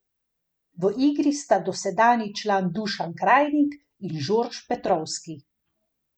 V igri sta dosedanji član Dušan Krajnik in Žorž Petrovski.